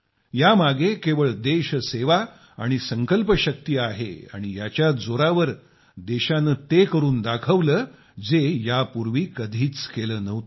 यामागे केवळ देशसेवा आणि संकल्पशक्ती आहे आणि याच्याच जोरावर देशाने ते करून दाखविले जे यापूर्वी कधीच केले नव्हते